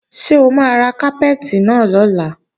Ṣé o máa ra kápẹ́ẹ̀tì náà lọ́la?